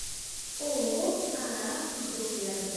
ооо ааа групп рядом